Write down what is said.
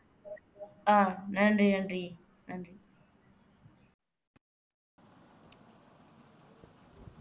ஆஹ் நன்றி நன்றி நன்றி